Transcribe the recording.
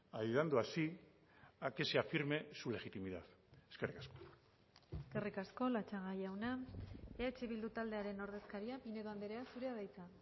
ayudando así a que se afirme su legitimidad eskerrik asko eskerrik asko latxaga jauna eh bildu taldearen ordezkaria pinedo andrea zurea da hitza